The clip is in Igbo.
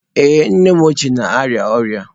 Ee, nnem ochie na-arịa ọrịa.